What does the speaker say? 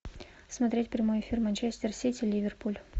смотреть прямой эфир манчестер сити ливерпуль